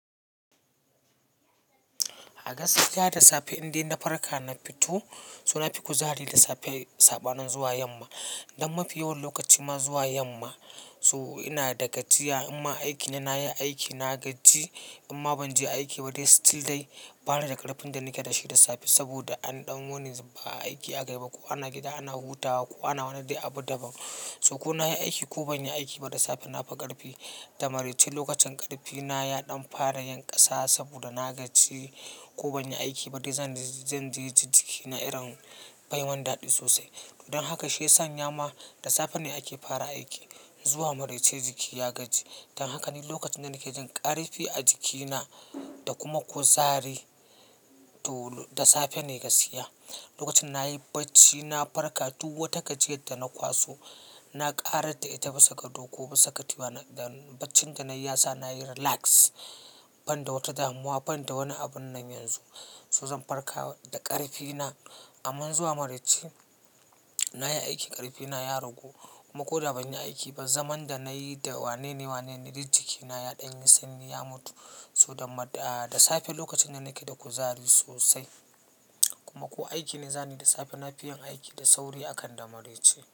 A gaskiya da safe indai na farka na fito, so na fi kuzari da safe, saba nin zuwa yamma. Dan mafi yawan lokaci ma zuwa yamma, so ina da gajiya. Imma aiki ne nayi aiki na gaji, imma ban je aiki ba dai still dai bani da ƙarfin da nake da shi da safe. Saboda an ɗan wuni zufa ake ba aiki aka yi ba ko ana gida ana hutawa ko ana wani dai abu da ban. So ko nayi aiki ko ban yi aiki ba da safe na fi ƙarfi. Da maraice lokacin ƙarfi na ya ɗan fara yin ƙasa saboda na gaji ko ban yi aiki ba dai zan ji ikina irin bai min daɗi sosai. Don haka shi yasan yama da safe ne ake fara aiki zuwa maraice jiki ya gaji. Dan haka ni lokacin da nake jin ƙarfi a jikina da kuma kuzari to da safe ne gaskiya. Lokacin nayi bacci na farka duk wata gajiyar da na kwaso na ƙara ta ita bisa ga ko bisa ga katifa. Dan baccin da nayi ya sa nayi relax ban da wata damuwa ban da wani abun nan yanzu. So zan farka da ƙarfi na. Amman zuwa maraice nayi aiki ƙarfi na ya ragu kuma ko da ban yi aiki ba. Zaman da nayi da wane ne wane ne duk jikina ya ɗan yi sanyi ya mutu. So da safe lokacin da nake da kuzari sosai kuma ko aiki ne za ni da safe na fi yin aiki da sauri akan da maraice.